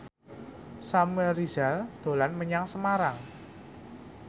Samuel Rizal dolan menyang Semarang